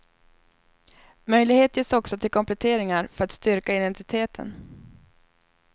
Möjlighet ges också till kompletteringar för att styrka identiteten.